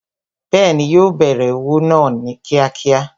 Bẹẹni, yo bẹ̀rẹ̀ òwò náà kíákíá